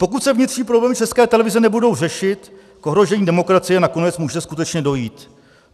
Pokud se vnitřní problémy České televize nebudou řešit, k ohrožení demokracie nakonec může skutečně dojít.